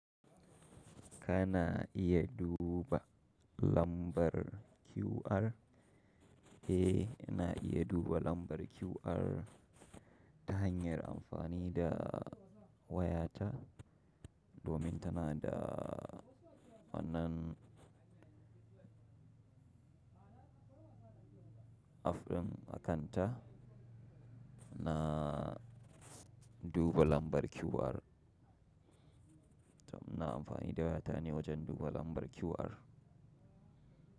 Kana iya duba lambar QR? Eh, ina iya duba lambar QR ta hanyar amfani da wayata. Domin tana da wannan app ɗin a kanta na duba lambar QR. To muna amfani da waya ta ne wajen duba lambar QR.